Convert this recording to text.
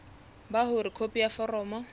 ba hore khopi ya foromo